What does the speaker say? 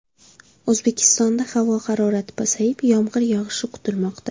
O‘zbekistonda havo harorati pasayib, yomg‘ir yog‘ishi kutilmoqda.